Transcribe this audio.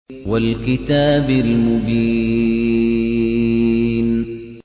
وَالْكِتَابِ الْمُبِينِ